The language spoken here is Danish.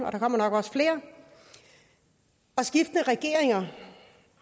og der kommer også flere og skiftende regeringer